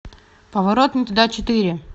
поворот не туда четыре